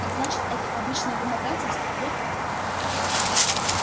так значит это обычное вымогательство вот как